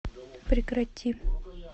прекрати